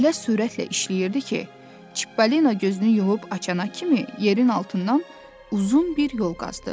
O elə sürətlə işləyirdi ki, Çipalino gözünü yumub açana kimi yerin altından uzun bir yol qazdı.